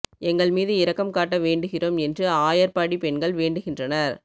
எங்கள் மீது இரக்கம் காட்ட வேண்டுகிறோம் என்று ஆயர்பாடி பெண்கள் வேண்டுகின்றனர்